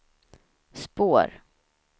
spår